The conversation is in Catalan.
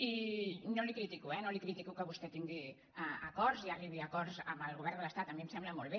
i no li ho critico eh no li critico que vostè tingui acords i arribi a acords amb el govern de l’estat a mi em sembla molt bé